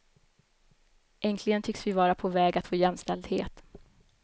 Äntligen tycks vi vara på väg att få jämställdhet.